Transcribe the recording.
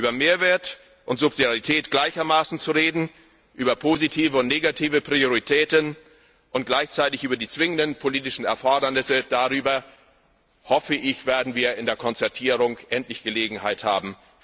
Über Mehrwert und Subsidiarität gleichermaßen zu reden, über positive und negative Prioritäten und gleichzeitig über die zwingenden politischen Erfordernisse, darüber vernünftig zu sprechen, dazu werden wir so hoffe ich in der Konzertierung endlich Gelegenheit haben.